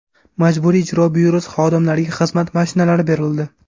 Majburiy ijro byurosi xodimlariga xizmat mashinalari berildi.